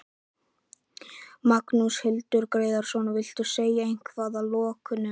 Magnús Hlynur Hreiðarsson: Viltu segja eitthvað að lokum?